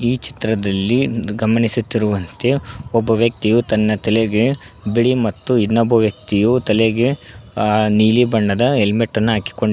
ಈ ಚಿತ್ರದಲ್ಲಿ ಗಮನಿಸುತ್ತಿರುವಂತೆ ಒಬ್ಬ ವ್ಯಕ್ತಿಯು ತನ್ನ ತಲೆಗೆ ಬಿಳಿ ಮತ್ತು ಇನ್ನೊಬ್ಬ ವ್ಯಕ್ತಿಯು ತಲೆಗೆ ಆ ನೀಲಿ ಬಣ್ಣದ ಹೆಲ್ಮೆಟ್ ಅನ್ನು ಹಾಕಿಕೊಂಡಿ--